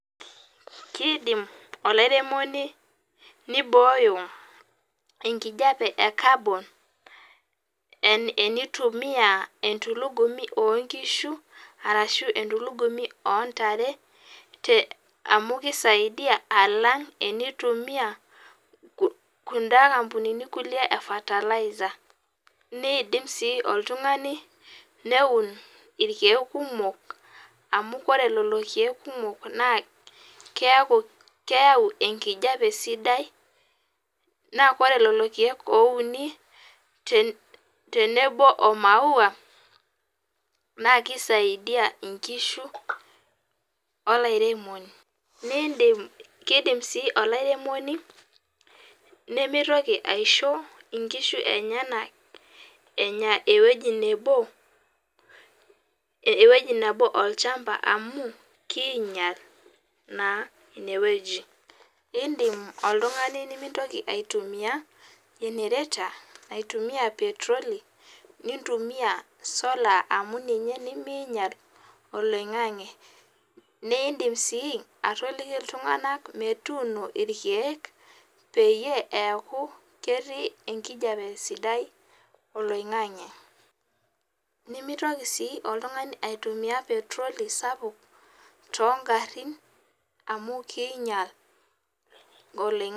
Kiidim olairemoni nibooyo enkijape e carbon enitumia entulugumi oonkishu, arashu entulugumi oontare. Amu kisaidia alang tenitumia kunda ampunini kulie e fertilizer, niidim sii oltungani neun irkiek kumok amu wore lelo kiek kumok naa keaku keyau enkijape sidai, naa kore lelo kiek ouni tenebo omau, naa kisaidia inkishu, olairemok. Kiidim sii olairemoni nimitoki aishoo inkishu enyanak enya ewoji nebo, olchamba amu kiinyial naa inewoji. Iindim oltungani nimitoki aitumia generator naitumiya petroli, nintumia solar amu ninye nimiinyial oloingange. Niindim sii atoliki iltunganak metuuni irkiek peyie eaku ketii enkijape sidai oloingange. Nimitoki sii oltungani aitumia petroli sapuk toonkarin amu kiinyial oloingange